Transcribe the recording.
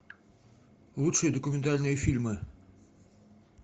лучшие документальные фильмы